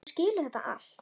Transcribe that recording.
Þú skilur þetta allt.